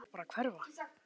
Ég vil bara hverfa.